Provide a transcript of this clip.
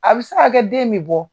A bi se ka kɛ den mi bɔ.